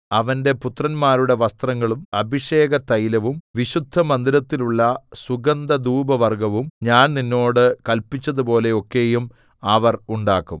അവന്റെ പുത്രന്മാരുടെ വസ്ത്രങ്ങളും അഭിഷേകതൈലവും വിശുദ്ധമന്ദിരത്തിനുള്ള സുഗന്ധധൂപവർഗ്ഗവും ഞാൻ നിന്നോട് കല്പിച്ചതുപോലെ ഒക്കെയും അവർ ഉണ്ടാക്കും